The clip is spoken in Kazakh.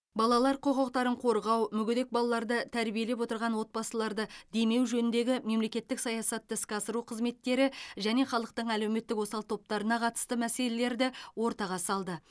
балалар құқықтарын қорғау мүгедек балаларды тәрбиелеп отырған отбасыларды демеу жөніндегі мемлекеттік саясатты іске асыру қызметтері және халықтың әлеуметтік осал топтарына қатысты мәселелерді ортаға салды